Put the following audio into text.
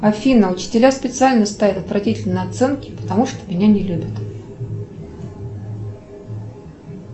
афина учителя специально ставят отвратительные оценки потому что меня не любят